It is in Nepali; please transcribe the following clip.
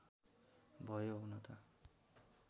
भयो हुन त